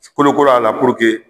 Sikolokolo a la